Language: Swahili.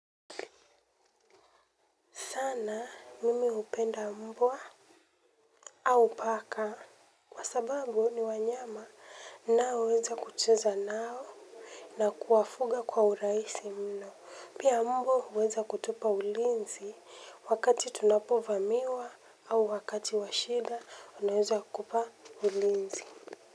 Sana mimi hupenda mbwa au paka. Kwa sababu ni wanyama nnao weza kucheza nao na kuwafuga kwa uraisi mno. Pia mbwa huweza kutupa ulinzi wakati tunapovamiwa au wakati washida anaweza kupa ulinzi.